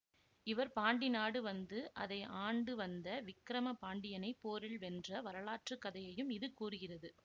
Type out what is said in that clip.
இவர் பாண்டி நாடு வந்து அதை ஆண்டு வந்த விக்கிரம பாண்டியனை போரில் வென்ற வரலாற்று கதையையும் இது கூறுகிறது